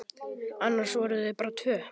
Annars voru þau bara tvö.